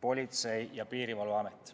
Politsei- ja Piirivalveamet.